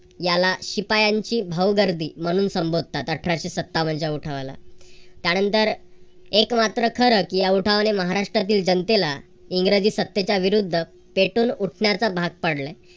याला शिपायांची भाऊगर्दी म्हणून संबोधतात. अठराशे सत्तावनच्या उठावाला त्यानंतर एक मात्र खरं की या उठावाने महाराष्ट्रातील जनतेला इंग्रजी सत्तेच्या विरुद्ध पेटून उठण्याचा भाग पाडले.